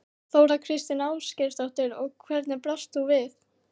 Þóra Kristín Ásgeirsdóttir: Og hvernig brást þú við?